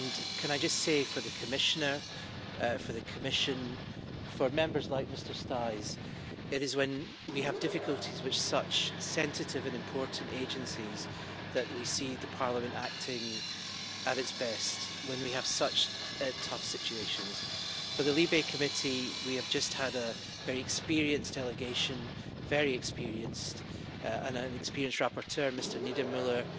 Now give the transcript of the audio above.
Can I just say for the Commissioner, for the Commission and for Members like Mr Staes, that it is when we have difficulties with such sensitive and important agencies that we see Parliament acting at its best, when we have such tough situations. For the LIBE Committee, we have just had a very experienced delegation, very experienced, and an experienced rapporteur, Mr Niedermüller,